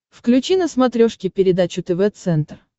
включи на смотрешке передачу тв центр